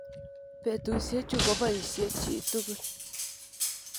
Petusye chu kopoisye chi tukul.